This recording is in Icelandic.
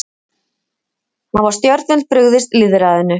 Hafa stjórnvöld brugðist lýðræðinu?